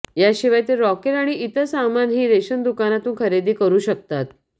याशिवाय ते रॉकेल आणि इतर सामानही रेशन दुकानातून खरेदी करू शकतात